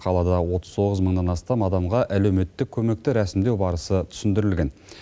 қалада отыз тоғыз мыңнан астам адамға әлеуметтік көмекті рәсімдеу барысы түсіндірілген